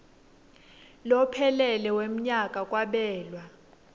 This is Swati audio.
lophelele wemnyaka kwabelwa